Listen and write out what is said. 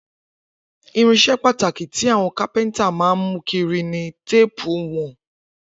Irinṣẹ́ pàtàkì tí àwọn kápẹ́ńtà máa ń mú kiri ni téépù ìwọ̀n.